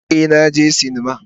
Ee, na je sinima.